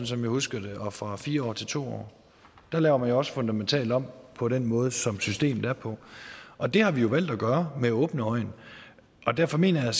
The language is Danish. som jeg husker det og fra fire år til to år der laver man jo også fundamentalt om på den måde som systemet er på og det har vi jo valgt at gøre med åbne øjne derfor mener jeg